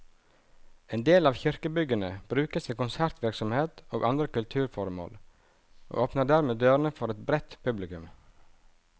En del av kirkebyggene brukes til konsertvirksomhet og andre kulturformål, og åpner dermed dørene for et bredt publikum.